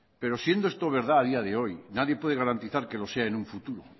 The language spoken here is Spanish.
pero siento esto verdad a día de hoy nadie puede garantizar que lo sea en un futuro